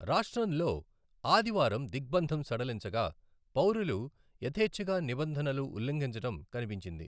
రాష్ట్రంలో ఆదివారం దిగ్బంధం సడలించగా, పౌరులు యథేచ్ఛగా నిబంధనలు ఉల్లంఘించడం కనిపించింది.